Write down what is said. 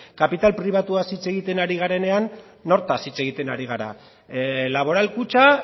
kapital pribatuaz hitz egiten ari garenean nortaz hitz egiten ari gara laboral kutxa